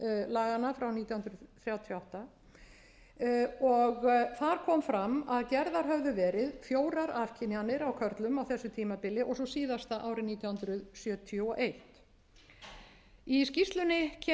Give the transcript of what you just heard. laganna frá nítján hundruð þrjátíu og átta þar kom fram að gerðar höfðu verið fjórar afkynjanir á körlum á þessu tímabili og síðasta árið nítján hundruð sjötíu og eitt í skýrslunni